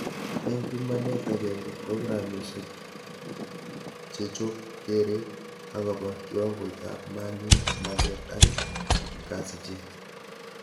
Eng pimanet agenge programishek chechob keret akobo kiwangoitab mali, maget ak kasichet